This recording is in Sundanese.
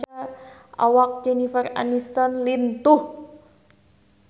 Awak Jennifer Aniston lintuh